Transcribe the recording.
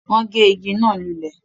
Wọ́n gé ìgi náà lulẹ̀